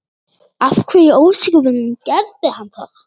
Af hverju í ósköpunum gerði hann það?